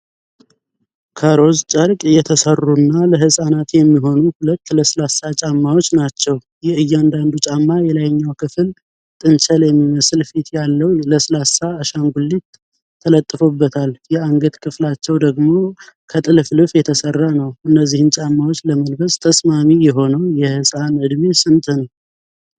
ከሮዝ ጨርቅ የተሰሩና ለሕፃናት የሚሆኑ ሁለት ለስላሳ ጫማዎች ናቸው። የእያንዳንዱ ጫማ የላይኛው ክፍል ጥንቸል የሚመስል ፊት ያለው ለስላሳ አሻንጉሊት ተለጥፎበታል። የአንገት ክፍላቸው ደግሞ ከጥልፍልፍ የተሰራ ነው። እነዚህን ጫማዎች ለመልበስ ተስማሚ የሆነው የሕፃን ዕድሜ ስንት ነው?